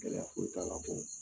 Gɛlɛya foyi t'a la